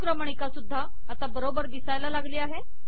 अनुक्रमणिका सुद्धा आता बरोबर दिसू लागली